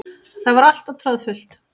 Það var alltaf troðfullt.